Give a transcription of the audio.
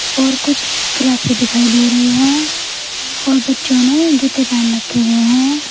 और कुछ क्लासें दिखाई दे रही है और बच्चों ने जूते पहन रखे हुए हैं।